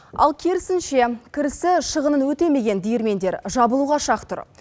ал керісінше кірісі шығынын өтемеген диірмендер жабылуға шақ тұр